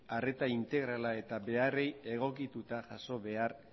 arreta integrala eta beharrei egokituta jaso behar